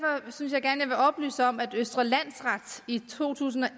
og oplyse om at østre landsret i to tusind og